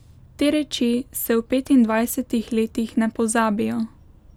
Te reči se v petindvajsetih letih ne pozabijo.